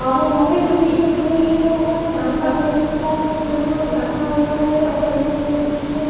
और लाइट भी जल रही है और यहां पर बहुत सारा सामान रखा हुआ है और इधर मुझे--